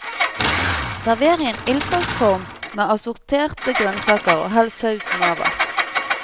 Server i en ildfast form med assorterte grønnsaker og hell sausen over.